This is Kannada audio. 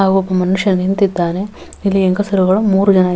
ಹಾಗು ಒಬ್ಬ ಮನುಷ್ಯ ನಿಂತಿದ್ದಾನೆ ಇಲ್ಲಿ ಹೆಂಗಸರುಗಳು ಮೂರೂ ಜನ --